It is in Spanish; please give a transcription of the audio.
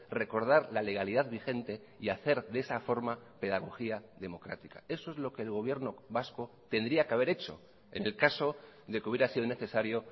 recordar la legalidad vigente y hacer de esa forma pedagogía democrática eso es lo que el gobierno vasco tendría que haber hecho en el caso de que hubiera sido necesario